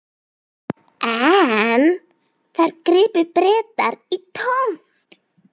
En þar gripu Bretar í tómt.